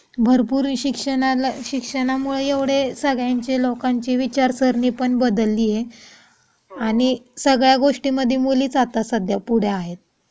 भरपूर शिक्षणाला शिक्षणामुळे एवढे सगळ्यांचे लोकांचे विचार सारणी पण बदलली आहे. आणि सगळ्या गोष्टींमध्ये मुलीच आता सध्या पुढे आहेत.